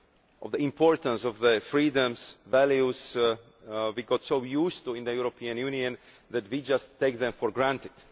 of the importance of the freedoms and values we have got so used to in the European Union that we just take them for granted.